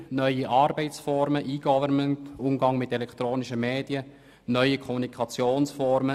Es entstehen neue Arbeitsformen wie eGovernment, der Umgang mit elektronischen Medien und neue Kommunikationsformen.